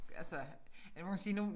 Altså ja nu kan man sige nu